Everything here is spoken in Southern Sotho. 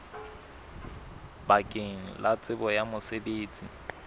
bakeng la tsebo ya mosebetsi